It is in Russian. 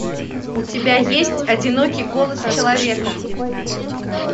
у тебя есть одинокий голос человека